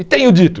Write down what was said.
E tenho dito.